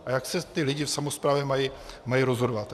A jak se ti lidé v samosprávě mají rozhodovat?